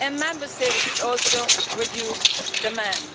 Member States should also reduce demand